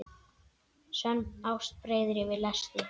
Sönn ást breiðir yfir lesti.